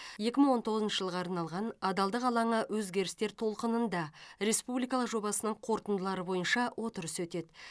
екі мың он тоғызыншы жылға арналған адалдық алаңы өзгерістер толқынында республикалық жобасының қорытындылары бойынша отырыс өтеді